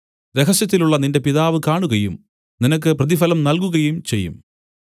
രഹസ്യത്തിലുള്ള നിന്റെ പിതാവ് കാണുകയും നിനക്ക് പ്രതിഫലം നല്കുകയും ചെയ്യും